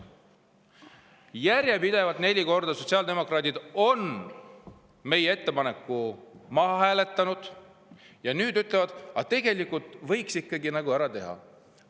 Järjepidevalt, neli korda on sotsiaaldemokraadid meie ettepaneku maha hääletanud, aga nüüd ütlevad, et tegelikult võiks ikkagi selle nagu ära teha.